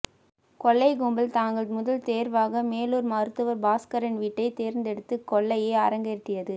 கொள்ளைக் கும்பல் தங்கள் முதல் தேர்வாக மேலூர் மருத்துவர் பாஸ்கரன் வீட்டைத் தேர்ந்தெடுத்து கொள்ளையை அரங்கேற்றியது